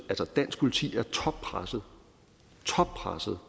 dansk politi er toppresset toppresset